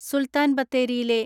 സുൽത്താൻബത്തേരിയിലെ